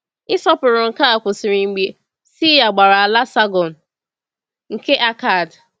Ịsọpụrụ nke a kwụsịrị mgbe Sịa gbara ala Sàrgọn nke Akkad.